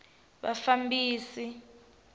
vafambisi